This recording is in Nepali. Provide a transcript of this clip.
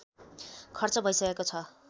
खर्च भइसकेको छ